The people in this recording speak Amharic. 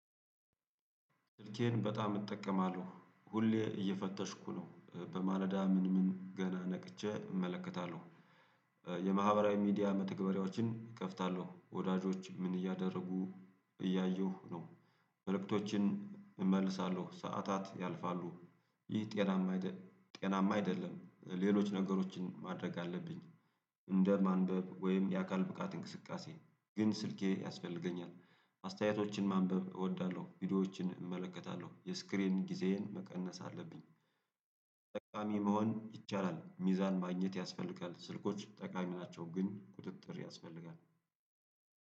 ስልኬን በጣም እጠቀማለሁ ሁሌ እየፈተሽኩ ነው በማለዳ ምን ምን ገና ነቅቼ እመለከታለሁ። የማህበራዊ ሚዲያ መተግበሪያዎችን እከፍታለሁ ወዳጆች ምን እያደረጉ እያየሁ ነው። መልእክቶችን እመልሳለሁ ሰዓታት ያልፋሉ። ይህ ጤናማ ጤናማ አይደለም ሌሎች ነገሮችን ማድረግ አለብኝ። እንደ ማንበብ ወይም የአካል ብቃት እንቅስቃሴ ግን ስልኬ ያስፈልገኛል። አስተያየቶችን ማንበብ እወዳለሁ ቪዲዮዎችን እመለከታለሁ የስክሪን ጊዜዬን መቀነስ አለብኝ። ጠቃሚ መሆን ይቻላል ሚዛን ማግኘት ያስፈልጋል። ስልኮች ጠቃሚ ናቸው። ግን ቁጥጥር ያስፈልጋል